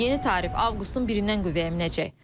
Yeni tarif avqustun 1-dən qüvvəyə minəcək.